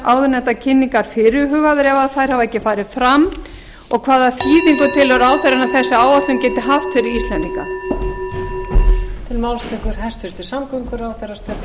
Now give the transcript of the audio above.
áðurnefndar kynningar fyrirhugaðar ef þær hafa ekki farið fram fjórða hvaða þýðingu telur ráðherra að þessi áætlun geti haft fyrir íslendinga